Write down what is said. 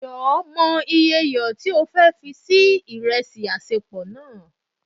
jọ, mo iye iyọ ti o fe fi se iresi